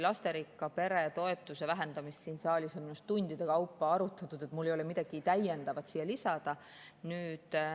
Lasterikka pere toetuse vähendamist on siin saalis minu arust tundide kaupa arutatud, mul ei ole midagi täiendavat siia lisada.